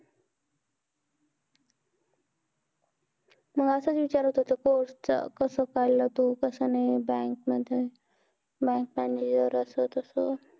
मंग असच विचारत होतो course चं कसं काढलं तू, bank मध्ये bank manger, असं तसं.